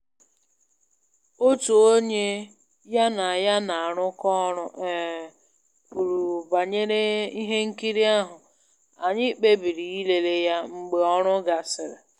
Otu onye ya na ya na-arụkọ ọrụ um kwuru banyere ihe nkiri ahụ, anyị kpebiri ịlele ya mgbe ọrụ gasịrị